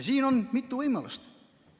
Siin on mitu võimalust.